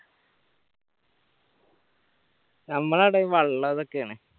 നമ്മളവിടെ വെള്ളം ഇതൊക്കെയാണ്